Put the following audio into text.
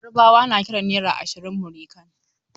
Yarbawa na kiran naira ashirin "Múrí kan".